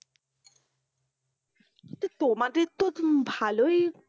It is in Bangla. তো তোমাদের তো ভালোই